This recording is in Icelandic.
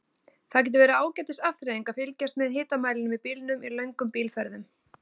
Það getur verið ágætis afþreying að fylgjast með hitamælinum í bílnum í löngum bílferðum.